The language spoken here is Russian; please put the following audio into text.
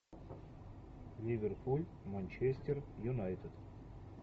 ливерпуль манчестер юнайтед